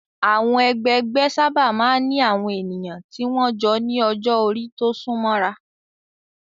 Àwọn ẹgbẹgbẹ́ sábà máa ń ní àwọn ènìyàn tí wọ́n jọ ní ọjọ́-orí tó súnmọ́ ra.